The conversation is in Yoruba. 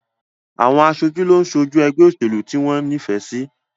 Àwọn aṣojú ló ń ṣojú ẹgbẹ́ òṣèlú tí wọ́n ní ìfẹ́ sí